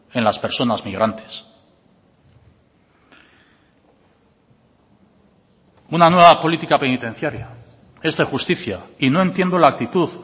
en las personas migrantes una nueva política penitenciaria es de justicia y no entiendo la actitud